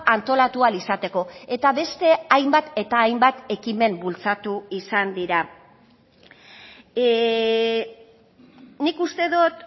antolatu ahal izateko eta beste hainbat eta hainbat ekimen bultzatu izan dira nik uste dut